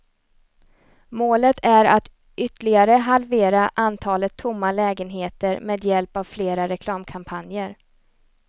Målet är att ytterligare halvera antalet tomma lägenheter med hjälp av fler reklamkampanjer.